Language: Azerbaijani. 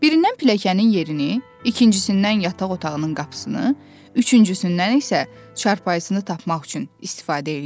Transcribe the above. Birindən pilləkənin yerini, ikincisindən yataq otağının qapısını, üçüncüsündən isə çarpayısını tapmaq üçün istifadə eləyirdi.